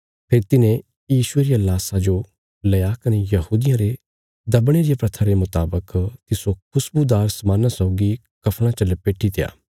फेरी तिन्हें यीशुये रिया लाशा जो लेआ कने यहूदियां रे दबणे रिया प्रथा रे मुतावक तिस्सो खुशबुदार समान्ना सौगी कफ़णा च लपेटित्या